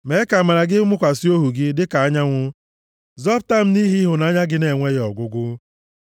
Mee ka amara gị mụkwasị ohu gị dịka anyanwụ; zọpụta m nʼihi ịhụnanya gị na-enweghị ọgwụgwụ.